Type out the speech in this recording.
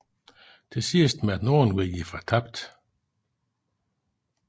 Til sidst måtte nordenvinden give fortabt